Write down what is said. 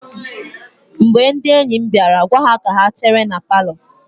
Mgbe ndị enyi m bịara, gwa ha ka ha chere na palọ.